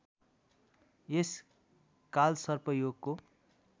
यस कालसर्प योगको